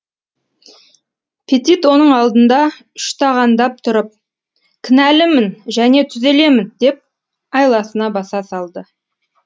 петит оның алдында үштағандап тұрып кінәлімін және түзелемін деп айласына баса салды